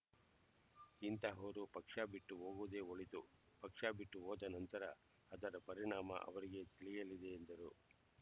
ಇಂತಹವರು ಪಕ್ಷ ಬಿಟ್ಟು ಹೋಗುವುದೇ ಒಳಿತು ಪಕ್ಷ ಬಿಟ್ಟು ಹೋದ ನಂತರ ಅದರ ಪರಿಣಾಮ ಅವರಿಗೆ ತಿಳಿಯಲಿದೆ ಎಂದರು